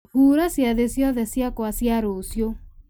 hura ciathĩ ciakwa ciothe cia rũciũ